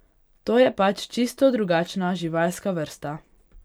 To je pač čisto drugačna živalska vrsta.